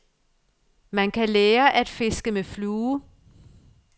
Man kan lære at fiske med flue.